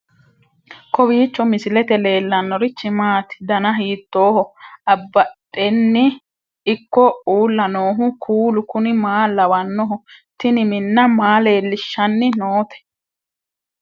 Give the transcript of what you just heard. kowiicho misilete leellanorichi maati ? dana hiittooho ?abadhhenni ikko uulla noohu kuulu kuni maa lawannoho? tini minna maa leellishshanni noote